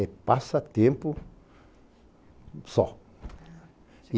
É passatempo só.